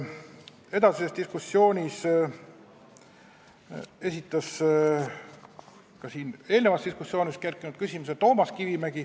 Edasises diskussioonis esitas Toomas Kivimägi küsimuse, mis kerkis eelnenud diskussioonis ka siin.